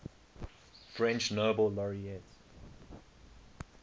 french nobel laureates